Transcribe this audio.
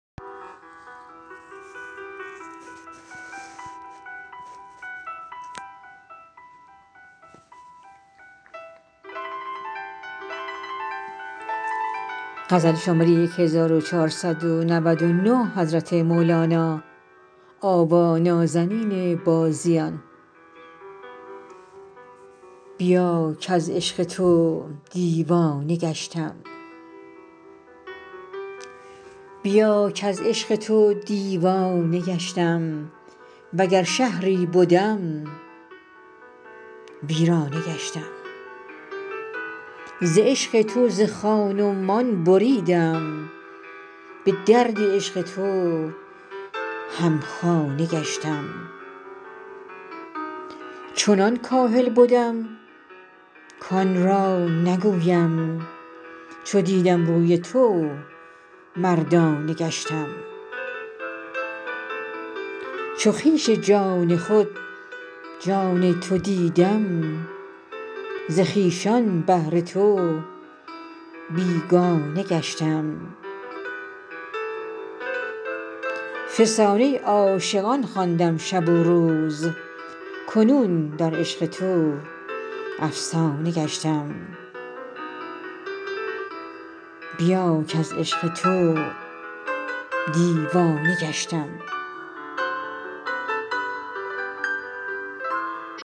بیا کز عشق تو دیوانه گشتم وگر شهری بدم ویرانه گشتم ز عشق تو ز خان و مان بریدم به درد عشق تو همخانه گشتم چنان کاهل بدم کان را نگویم چو دیدم روی تو مردانه گشتم چو خویش جان خود جان تو دیدم ز خویشان بهر تو بیگانه گشتم فسانه عاشقان خواندم شب و روز کنون در عشق تو افسانه گشتم